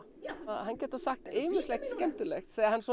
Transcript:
hann getur sagt ýmislegt skemmtilegt þegar hann